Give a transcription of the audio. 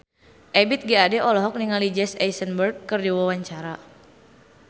Ebith G. Ade olohok ningali Jesse Eisenberg keur diwawancara